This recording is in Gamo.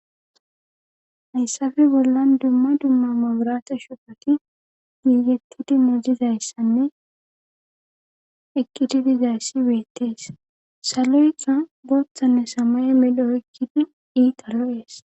hayssafe bollan dumma dumma maburata shupati giigetti dimmo dizayssanne eqqiti dizayssi weettees saloykka booththanne samae medho ekkidi iita ro7ees